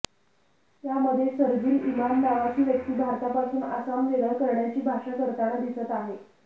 यामध्ये शरजील इमाम नावाची व्यक्ती भारतापासून आसाम वेगळं करण्याची भाषा करताना दिसत आहे